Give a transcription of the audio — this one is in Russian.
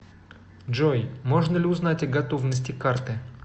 джой можно ли узнать о готовности карты